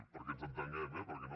perquè ens entenguem eh perquè no